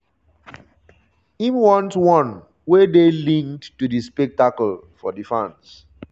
im want - one wey dey linked to di spectacle for di fans.